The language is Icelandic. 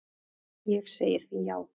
Ég segi því já.